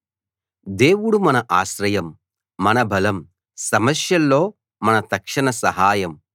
దేవుడు మన ఆశ్రయం మన బలం సమస్యల్లో మన తక్షణ సహాయం